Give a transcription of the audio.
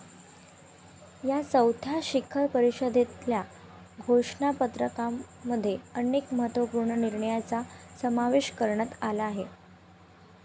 या चौथ्या शिखर परिषदेतल्या घोषणापत्रामध्ये अनेक महत्वपूर्ण निर्णयांचा समावेश करण्यात आला आहे.